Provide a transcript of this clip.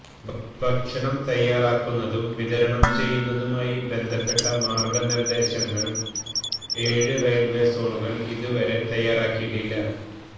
ഭക്ഷണം തയ്യാറാക്കുന്നതും വിതരണം ചെയ്യുന്നതുമായി ബന്ധപ്പെട്ട മാര്ഗ്ഗ നിര്ദ്ദേശങ്ങല് ഏഴ് റയില്വേ സോണുകള് ഇതുവരെ തയ്യാറാക്കിയിട്ടില്ല